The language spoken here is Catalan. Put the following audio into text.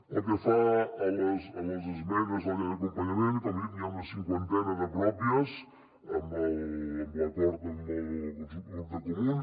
pel que fa a les esmenes a la llei d’acompanyament com he dit n’hi ha una cinquantena de pròpies amb l’acord amb el grup de comuns